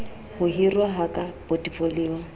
ho hiruwa ha ka potefoliong